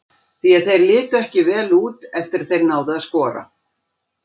Því að þeir litu ekki vel út eftir að þeir náðu að skora.